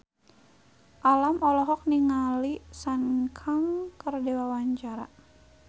Alam olohok ningali Sun Kang keur diwawancara